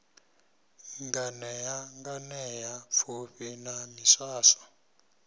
nganea nganea pfufhi na miswaswo